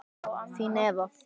Þín, Eva.